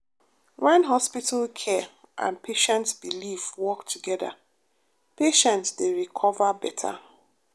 when hospital care and patient belief work together patient dey recover beta.